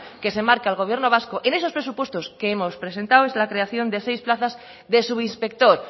que se marca el gobierno vasco en esos presupuestos que hemos presentado es la creación de seis plazas de subinspector